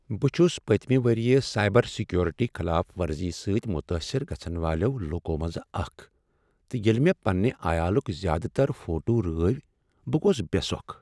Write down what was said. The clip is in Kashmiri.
بہٕ چھس پٔتۍمہ ؤریہ سایبر سیکیورٹی خلاف ورزی سۭتۍ متٲثر گژھن والیو لوٗکو منٛزٕ اکھ تہٕ ییٚلہ مےٚ پنٛنہ عیالٕکۍ زیٛادٕ تر فوٹو رٲوۍ بہٕ گوس بےٚسۄکھ۔